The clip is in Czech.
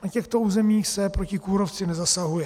Na těchto územích se proti kůrovci nezasahuje.